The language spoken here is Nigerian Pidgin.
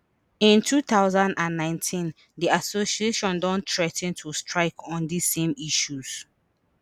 in two thousand and nineteen di association don threa ten to strike on dis same issues